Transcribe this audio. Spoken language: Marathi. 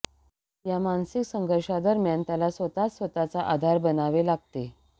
या मानसिक संघर्षादरम्यान त्याला स्वतःच स्वतःचा आधार बनावे लागते